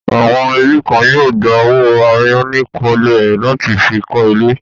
Àwọn ẹbí kan yóò gba owó àyánikọ́lé láti fi kọ́ ilé.